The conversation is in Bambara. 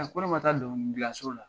ko ne ma taa dɔnkili gilanso la .